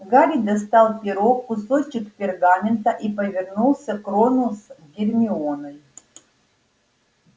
гарри достал перо кусочек пергамента и повернулся к рону с гермионой